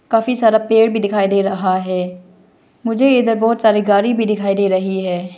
काफी सारा पेड़ भी दिखाई दे रहा है मुझे इधर बहुत सारी गाड़ी भी दिखाई दे रही है।